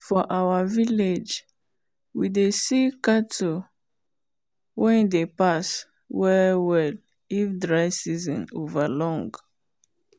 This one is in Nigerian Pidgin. for our village we dey see cattle wen dey pass well well if dry season over long.